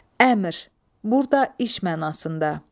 Əmr, burda iş mənasında.